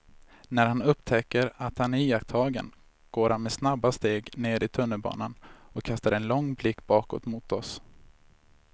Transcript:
När han upptäcker att han är iakttagen går han med snabba steg ner i tunnelbanan och kastar en lång blick bakåt mot oss.